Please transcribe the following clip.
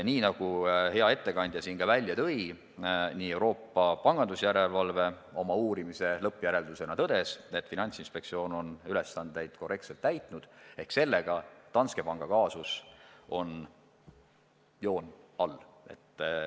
Nii nagu hea ettekandja välja tõi, Euroopa pangandusjärelevalve oma uurimise lõppjäreldusena tõdes, et Finantsinspektsioon on ülesandeid korrektselt täitnud, ehk siis sellega on Danske panga kaasusel joon all.